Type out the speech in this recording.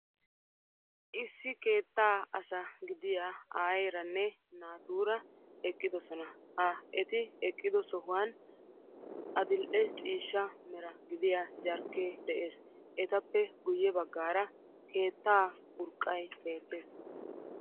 Issi keettaa asa gidiya airanne naatuura eqqidosona ha eti eqqido sohuwan adil"e ciishsha mera gidiya jarkkee de'ees. etappe guyye baggaara keettaa urqqay beettees.